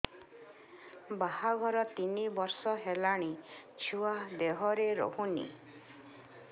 ବାହାଘର ତିନି ବର୍ଷ ହେଲାଣି ଛୁଆ ଦେହରେ ରହୁନି